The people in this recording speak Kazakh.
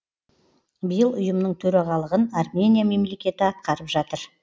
биыл ұйымның төрағалығын армения мемлекеті атқарып жатыр